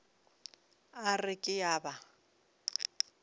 a re ke a ba